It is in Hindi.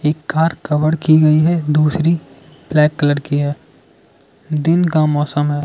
एक कार कवर की गई है दूसरी ब्लैक कलर की है दिन का मौसम है।